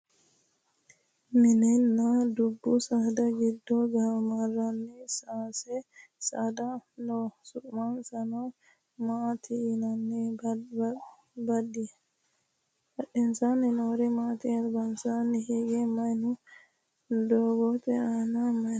mininna dubbu saada giddo gaamamannori sase saada no su'mansa maati yinanni? badhensaanni noori maati? albansaanni hige maye no? doogote aana maye no?